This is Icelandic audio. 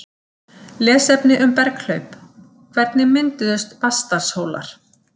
Lesefni um berghlaup: Hvernig mynduðust Vatnsdalshólar?